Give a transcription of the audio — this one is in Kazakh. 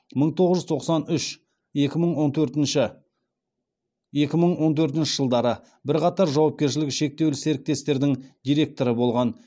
мың тоғыз жүз тоқсан үш екі мың он төртінші жылдары бірқатар жауапкершілігі шектеулі серіктестердің директоры болған